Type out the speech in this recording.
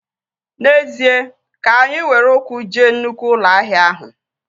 N'ezie, ka anyị were ụkwụ jee nnụkwụ ụlọ ahịa ahụ